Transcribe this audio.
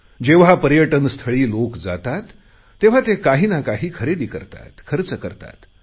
जेव्हा पर्यटनस्थळी लोक जातात तेव्हा ते काहीना काही खरेदी करतात खर्च करतात